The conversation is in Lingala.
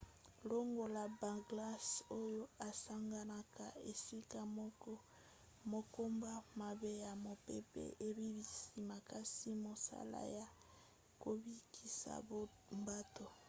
longola baglace oyo esanganaka esika moko makambo mabe ya mopepe ebebisi makasi mosala ya kobikisa bato